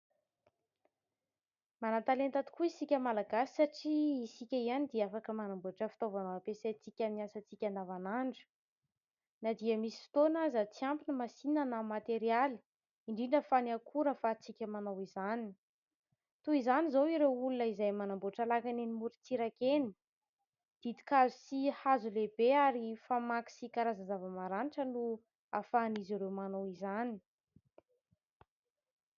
Manan-talenta tokoa isika malagasy satria isika ihany dia afaka manamboatra fitaovana ho ampiasaintsika amin'ny asantsika andavanandro. Na dia misy fotoana aza tsy ampy ny masinina na ny materialy, indrindra fa ny akora ahafahantsika manao izany. Toy izany izao ireo olona izay manamboatra lakana eny amoron-tsiraka eny, ditin-kazo sy hazo lehibe ary karazan-java-maranitra no ahafahan'izy ireo manao izany.